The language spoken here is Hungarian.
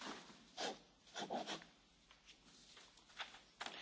A török állam potenciális ellenségnek tekinti a kurdokat.